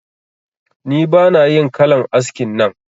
Ni bana yin kalan askin nan